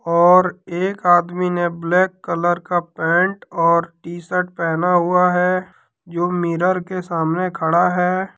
और एक आदमी ने ब्लैक कलर का पैंट और टी शर्ट पेहना हुआ है जो मिरर के सामने खड़ा है।